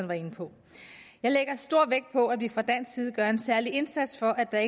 var inde på jeg lægger stor vægt på at vi fra dansk side gør en særlig indsats for at der